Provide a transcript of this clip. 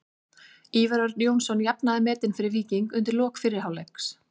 Ívar Örn Jónsson jafnaði metin fyrir Víking undir lok fyrri hálfleiks.